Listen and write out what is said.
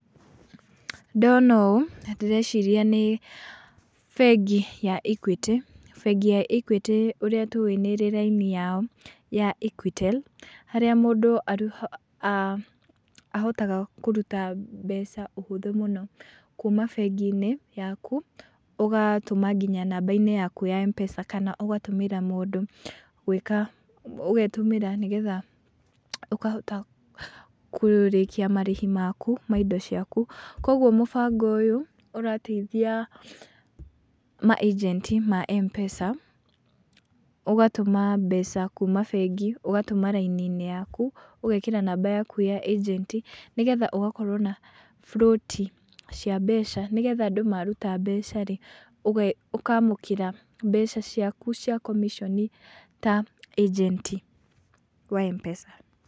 Ndona ũũ, ndĩreciria nĩ bengiya Equity, bengi ya Equity ũrĩa tũĩ nĩ ĩrĩ raini yao ya Equitel, harĩa mũndũ ahotaga kũruta mbeca ũhũthũ mũno, kuma bengi-inĩ yaku, ũgatũma namba inĩ yaku ya M-PESA, kana ũgatũmĩra mũndũ, gwĩka, ũgetũmĩra nĩgetha ũkahota kũĩkia marĩhi maku ma indo ciaku, koguo mũtabo ũyũ ũrateithia ma agent ma M-PESA, ũgatũma mbeca kũma bengi, ũgatũma raini-inĩ yaku, ũgekĩra namba yaku ya agent[c], nĩ getha ũgakorwo na float cia mbeca, nĩgetha andũ maruta mbeca rĩ, ũkamũkĩra mbeca ciaku cia commission ta agent wa M-PESA.